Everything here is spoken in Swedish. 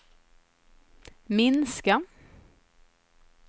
minska